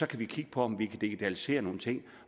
kan vi kigge på om vi kan digitalisere nogle ting